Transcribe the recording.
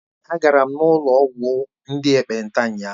Èé, agara m n'ụlọ ọgwụ ndị ekpenta ụnyahụ.